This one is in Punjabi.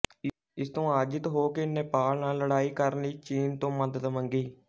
ਇਸ ਤੋਂ ਆਜਿਤ ਹੋ ਕੇ ਨੇਪਾਲ ਨਾਲ ਲੜਾਈ ਕਰਨ ਲਈ ਚੀਨ ਤੋਂ ਮਦਦ ਮੰਗੀ